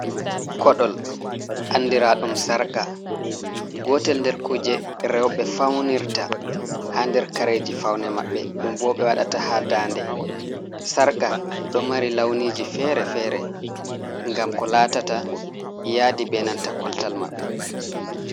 Koɗol, andira ɗum sarƙa. Gotel nder kuje rewɓe faunirta ha der kareji faune maɓɓe ɗum bo ɓe waɗata ha dande. Sarƙa ɗo mari launiji fere-fere, ngam ko latata yaadi be nanta koltal maɓɓe.